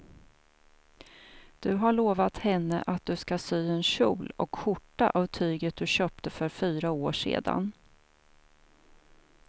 Du har lovat henne att du ska sy en kjol och skjorta av tyget du köpte för fyra år sedan.